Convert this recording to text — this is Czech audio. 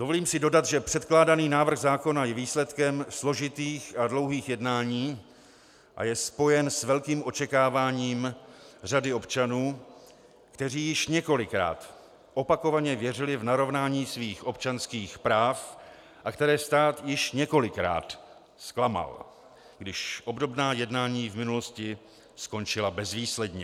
Dovolím si dodat, že předkládaný návrh zákona je výsledkem složitých a dlouhých jednání a je spojen s velkým očekáváním řady občanů, kteří již několikrát opakovaně věřili v narovnání svých občanských práv a které stát již několikrát zklamal, když obdobná jednání v minulosti skončila bezvýsledně.